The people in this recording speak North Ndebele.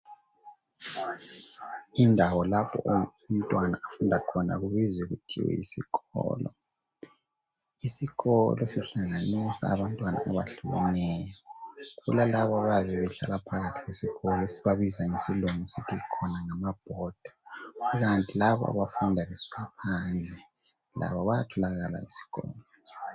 Indawo lapho umntwana afunda khona ubizwa kuthiwa yisikolo. Isikolo sihlanganisa abantwana abahlukaneyo kulalaba ayabe behlala phakathi esikolo esibabiza ngesilungu sithi khona ngamabhoda kukanti labo abafunda besuka phandle labo bayatholakala esikolo.